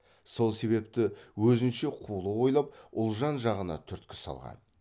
сол себепті өзінше қулық ойлап ұлжан жағына түрткі салған